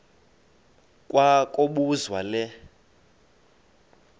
kwa kobuzwa le